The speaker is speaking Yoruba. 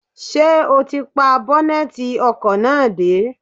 Ṣé o ti pa bọ́nẹ́tì ọkọ̀ náà dé?